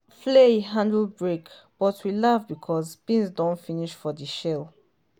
flail handle break but we laugh because beans don finish for the shell